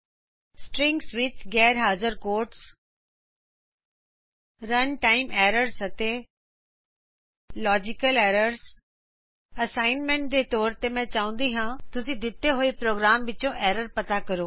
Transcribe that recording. strings ਵਿਚ ਗੈਰ ਹਾਜਰ ਕੋਟਸ ਰਨ ਟਾਈਮ ਐਰਰਜ਼ ਅਤੇ ਲਾਜੀਕਲ ਐਰਰਜ਼ ਹੋਮਵਰਕ ਦੇ ਰੂੰਪ ਵਿੱਚਮੈਂ ਚਾਹੁੰਦੀ ਹਾਂ ਕਿ ਤੁਸੀਂ ਦਿੰਤੇ ਹੋਏ ਪ੍ਰੋਗਰਾਮ ਵਿਚੋਂ ਏਰਰ ਪਤਾ ਕਰੋਂ